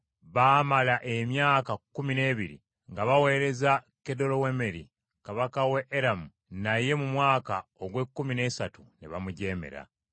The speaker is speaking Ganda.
Baamala emyaka kkumi n’ebiri nga baweereza Kedolawomeeri kabaka we Eramu, naye mu mwaka ogw’ekkumi n’esatu ne bamujeemera.